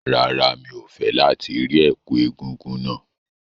Rárá, mi ò fẹ́ láti rí ẹ̀kú egúngún náà.